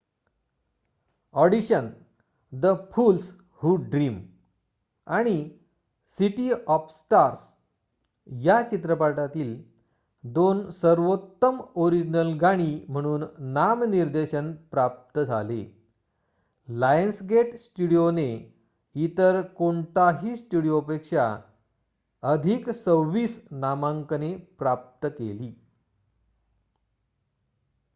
Audition the fools who dream आणि city of stars या चित्रपटातील 2 सर्वोत्तम ओरिजिनल गाणी म्हणून नामनिर्देशन प्रप्त झाले. लायन्सगेट स्टुडीओ ने इतर कोणाही स्टुडीओपेक्षा अधिक 26 नामांकने प्राप्त केली